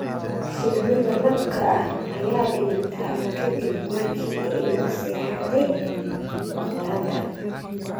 Shinnida labka ah ayaa dhimata ka dib markii ay la seexatay boqorada.